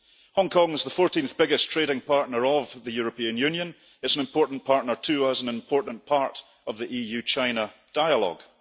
Hong Kong is the 14th biggest trading partner of the European Union, it is an important partner to us, an important part of the EU China dialogue.